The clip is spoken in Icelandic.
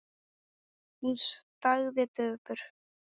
Hún þagði döpur.